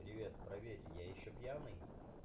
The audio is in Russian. привет проверьте я ещё пьяный